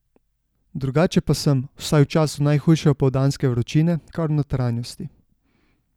Drugače pa sem, vsaj v času najhujše opoldanske vročine, kar v notranjosti.